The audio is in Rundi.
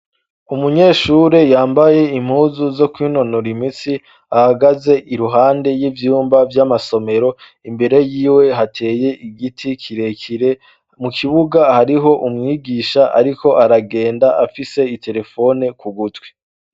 Umunyeshure yambaye impuzu zo kwintonora imitsi ahagaze iruhande y'ivyumba vy'amasomero imbere yiwe hateye igiti kirekire mu kibuga hariho umwigisha, ariko aragenda afise itelefone ku gutwi.